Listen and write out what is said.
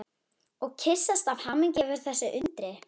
Og kyssast af hamingju yfir þessu undri.